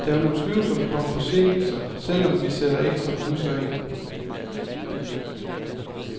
Der vil utvivlsomt komme forsinkelser, selv om vi sætter ekstra busser ind.